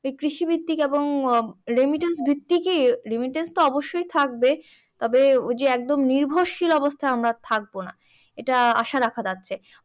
যে কৃষিভিত্তিক এবং remittance ভিত্তিকই remittance তো অবশ্যই থাকবে তবে এইযে একদম নির্ভরশীল অবস্থা আমরা আর থাকবনা। এইটা আশা রাখা যাচ্ছে।